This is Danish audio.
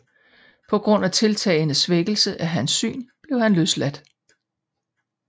På grund af tiltagende svækkelse af hans syn blev han løsladt